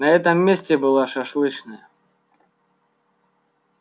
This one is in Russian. на этом месте была шашлычная